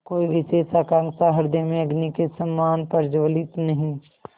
कोई विशेष आकांक्षा हृदय में अग्नि के समान प्रज्वलित नहीं